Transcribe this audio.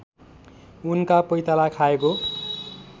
उनका पैताला खाएको